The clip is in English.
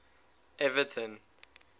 everton